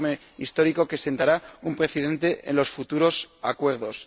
es un informe histórico que sentará un precedente en los futuros acuerdos.